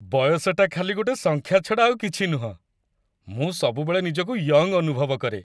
ବୟସଟା ଖାଲି ଗୋଟେ ସଂଖ୍ୟା ଛଡ଼ା ଆଉ କିଛି ନୁହଁ । ମୁଁ ସବୁବେଳେ ନିଜକୁ ୟଙ୍ଗ୍ ଅନୁଭବ କରେ ।